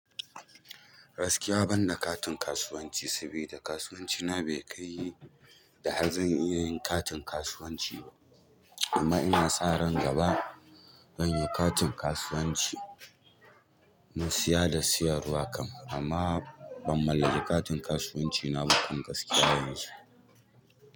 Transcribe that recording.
Gaskiya ban da katin kasuwanci sabida kasuwanci na bai kai yi da hanyar zan iya yin katin kasuwanci ba. Amma ina sa ran gaba zan yi katin kasuwanci, na siya da siyarwa kam. Amma ban mallaki katin kasuwanci na ba kan gaskiya yanzu.